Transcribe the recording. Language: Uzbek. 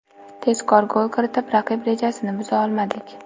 Tezkor gol kiritib, raqib rejasini buza olmadik.